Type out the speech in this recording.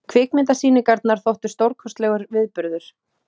Kvikmyndasýningarnar þóttu stórkostlegur viðburður.